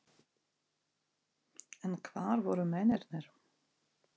En hvar voru mennirnir?